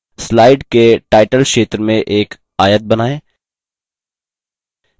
slide के title क्षेत्र में एक आयत बनाएँ